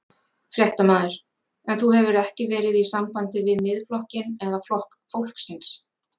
Fréttamaður: En þú hefur ekki verið í sambandi við Miðflokkinn eða Flokk fólksins?